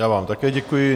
Já vám také děkuji.